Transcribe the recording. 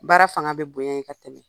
Baara fanga bi bonɲɛ yen ka tɛmɛ.